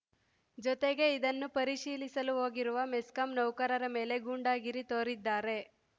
ಜೊತೆಗೆ ಇದನ್ನು ಪರಿಶೀಲಿಸಲು ಹೋಗಿರುವ ಮೆಸ್ಕಾಂ ನೌಕರರ ಮೇಲೆ ಗೂಂಡಾಗಿರಿ ತೋರಿದ್ದಾರೆ